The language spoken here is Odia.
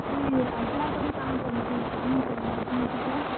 ଇ ଆସ୍ ଲା ପରେ କାଣା ପଢୁଛେ କାଣା ନି ପଢ଼ବାର୍ ତୁମେ ପଚ୍ ରାସ?